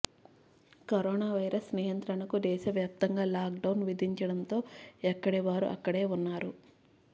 coronavirus నియంత్రణకు దేశవ్యాప్తంగా lockdown విధించడంతో ఎక్కడి వారు అక్కడే ఉన్నారు